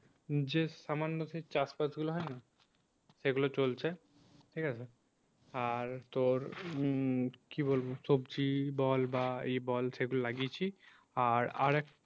যে সামান্য সেই চাষবাস গুলো হয় না, সেগুলো চলছে ঠিক আছে আর তোর উম সবজি বল বা এ বল সে গুলো লাগিয়েছি। আর আর একটা~